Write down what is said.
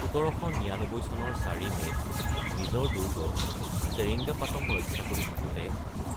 ১৭৯৯ চনৰ ৪ মে'ত নিজৰ দুৰ্গ চেৰিঙ্গাপাটম ৰক্ষা কৰি থাকোঁতে